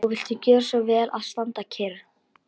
Og viltu gjöra svo vel að standa kyrr.